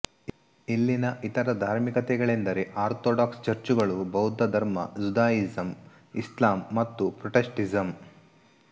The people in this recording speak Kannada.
ಇಲ್ಲಿನ ಇತರ ಧಾರ್ಮಿಕತೆಗಳೆಂದರೆ ಆರ್ಥೊಡಾಕ್ಸ್ ಚರ್ಚುಗಳು ಬೌದ್ಧ ಧರ್ಮ ಜುದಾಯಿಸಂ ಇಸ್ಲಾಂ ಮತ್ತು ಪ್ರೊಟೆಸ್ಟೆಂಟಿಸಂ